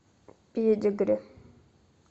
педигри